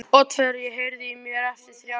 Oddfreyja, heyrðu í mér eftir þrjár mínútur.